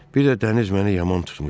Bir də dəniz məni yaman tutmuştu.